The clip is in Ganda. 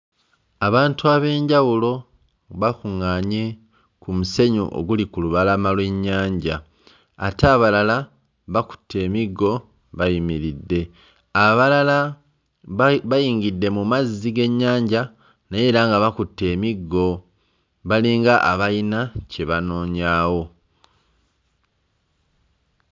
Abantu ab'enjawulo bakuŋŋaanye ku musenyu oguli ku lubalama lw'ennyanja, ate abalala bakutte emiggo bayimiridde, abalala bayi bayingidde mu mazzi g'ennyanja naye era nga bakutte emiggo balinga abayina kye banoonyaawo.